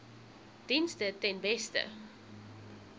dienste ten beste